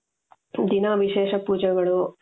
ದಿನಾ ವಿಶೇಷ ಪೂಜೆಗಳು